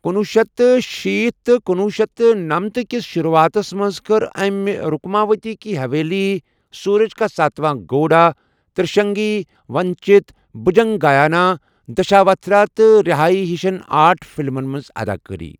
کنُۄہ شیتھ تہٕ شیٖتھ تہٕ کُنوُہ شیٚتھ تہٕ نمنتھ کِس شُروٗعاتس منٛز کٔر أمہِ رُکماؤتی کی حَویلی، سوٗرج کا ستواں گھوڑا، تِرٛشگنی، ونچِت، بُھجنگایانا دشاوتھارا تہٕ رِہایی ہِشن آرٹ فِلمن منٛز اداکٲری۔